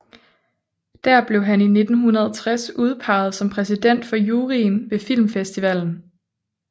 Der blev han i 1960 udpeget som præsident for juryen ved filmfestivalen